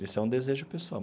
Esse é um desejo pessoal.